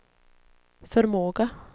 förmåga